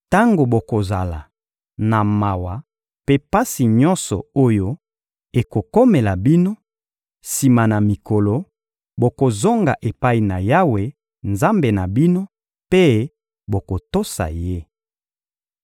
Tango bokozala na mawa mpe pasi nyonso oyo ekokomela bino, sima na mikolo, bokozonga epai na Yawe, Nzambe na bino, mpe bokotosa Ye.